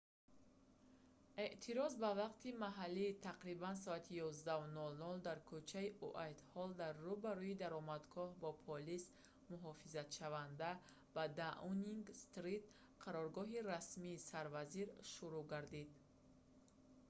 эътироз ба вақти маҳаллӣ тақрибан соати 11:00 utc+1 дар кӯчаи уайтҳолл дар рӯ ба рӯи даромадгоҳи бо полис муҳофизатшаванда ба даунинг стрит қароргоҳи расмии сарвазир шурӯъ гардид